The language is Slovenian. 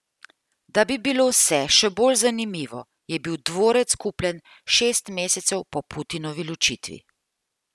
Da bi bilo vse še bolj zanimivo, je bil dvorec kupljen šest mesecev po Putinovi ločitvi.